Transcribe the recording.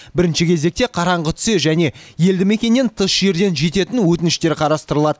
бірінші кезекте қараңғы түсе және елді мекеннен тыс жерден жететін өтініштер қарастырылады